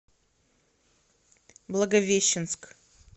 благовещенск